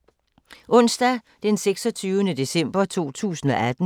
Onsdag d. 26. december 2018